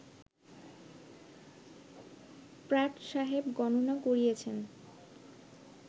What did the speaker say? Pratt সাহেব গণনা করিয়াছেন